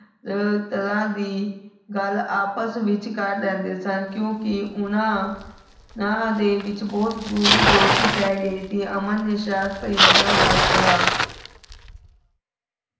ਤਰਹਾਂ ਦੀ ਗਲ ਆਪਸ ਵਿਚ ਕਰ ਲੈਂਦੇ ਸਨ ਕਿਓਂਕਿ ਓਹਨਾਂ ਦੇ ਵਿਚ ਬੋਹਤ ਗੂੜੀ ਦੋਸਤੀ ਪੈ ਗਈ ਸੀ ਅਮਨ ਨੇ ਸ਼ਰਾਰਤ ਭਰੀ ਨਜ਼ਰਾਂ ਨਾਲ ਕੇਹਾ